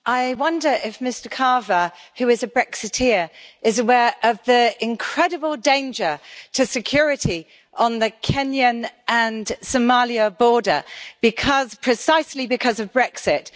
I wonder if Mr Carver, who is a Brexiter, is aware of the incredible danger to security on the Kenyan and Somali border precisely because of Brexit?